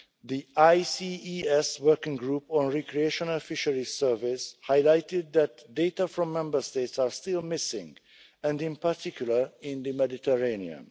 The ICES Working Group on Recreational Fisheries Surveys highlighted that data from Member States are still missing, in particular in the Mediterranean.